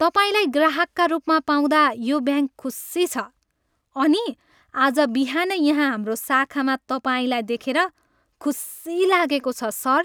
तपाईँलाई ग्राहकका रूपमा पाउँदा यो ब्याङ्क खुसी छ अनि आज बिहानै यहाँ हाम्रो शाखामा तपाईँलाई देखेर खुसी लागेको छ, सर!